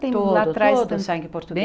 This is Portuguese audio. Todo, todo sangue